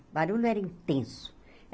O barulho era intenso.